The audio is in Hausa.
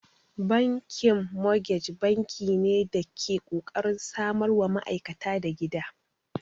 Bankin mogej banki ne da ke kokarin samarwa ma'aikata da gida.